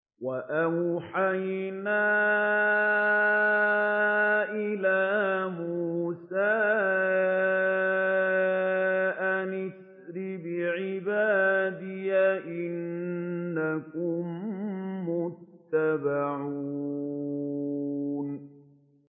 ۞ وَأَوْحَيْنَا إِلَىٰ مُوسَىٰ أَنْ أَسْرِ بِعِبَادِي إِنَّكُم مُّتَّبَعُونَ